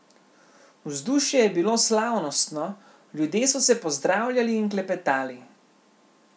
Vzdušje je bilo slavnostno, ljudje so se pozdravljali in klepetali.